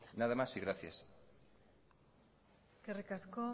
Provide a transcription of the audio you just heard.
nada más y gracias eskerrik asko